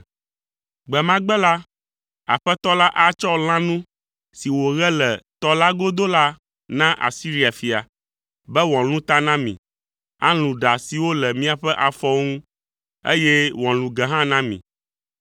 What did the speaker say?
Gbe ma gbe la, Aƒetɔ la atsɔ lãnu si wòɣe le tɔ la godo, Asiria fia, be wòalũ ta na mi, alũ ɖa siwo le miaƒe afɔwo ŋu, eye wòalũ ge hã na mi.